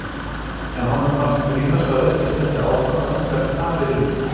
En honum fannst brýnast að verkið héldi áfram og engar tafir yrðu.